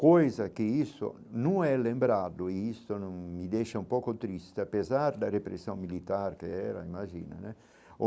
Coisa que isso não é lembrado, e isso me deixa um pouco triste, apesar da repressão militar que era, imagina, né?